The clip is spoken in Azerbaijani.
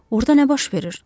Orda nə baş verir?